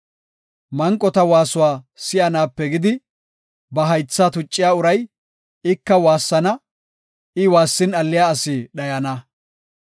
Manqota waasuwa si7anaape gidi, ba haythaa tucciya uray, ika waassana; I waassin alliya asi dhayana.